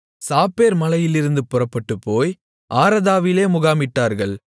Shapher மலையிலிருந்து புறப்பட்டுப்போய் ஆரதாவிலே முகாமிட்டார்கள்